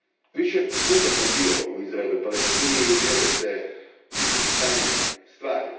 Više puta sam bio u Izraelu i Palestini i uvjerio se u stanje stvari.